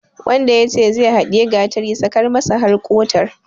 Wanda yace zai haɗiyi gatari, sakar masa har ƙotar.